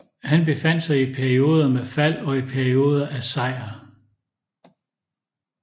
Han befandt sig i perioder med fald og i perioder af sejr